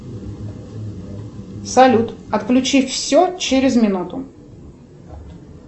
салют отключи все через минуту